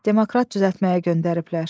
Demoktratı düzəltməyə göndəriblər.